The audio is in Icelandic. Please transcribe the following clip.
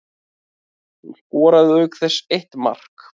Hún skoraði auk þess eitt mark